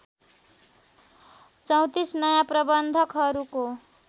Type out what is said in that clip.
३४ नयाँ प्रबन्धकहरूको